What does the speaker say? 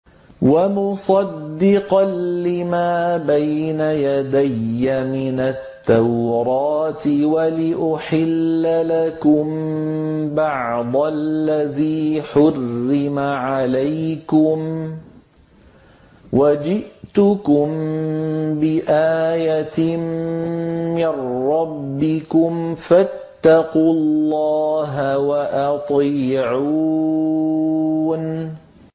وَمُصَدِّقًا لِّمَا بَيْنَ يَدَيَّ مِنَ التَّوْرَاةِ وَلِأُحِلَّ لَكُم بَعْضَ الَّذِي حُرِّمَ عَلَيْكُمْ ۚ وَجِئْتُكُم بِآيَةٍ مِّن رَّبِّكُمْ فَاتَّقُوا اللَّهَ وَأَطِيعُونِ